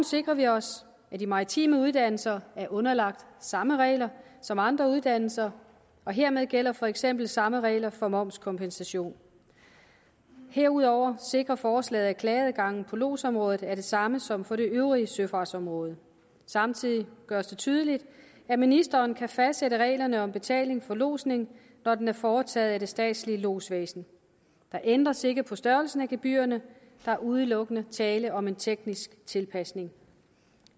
sikrer vi os at de maritime uddannelser er underlagt samme regler som andre uddannelser og hermed gælder for eksempel samme regler for momskompensation herudover sikrer forslaget at klageadgangen på lodsområdet er den samme som for det øvrige søfartsområde samtidig gøres det tydeligt at ministeren kan fastsætte reglerne om betaling for lodsning når den er foretaget af det statslige lodsvæsen der ændres ikke på størrelsen af gebyrerne der er udelukkende tale om en teknisk tilpasning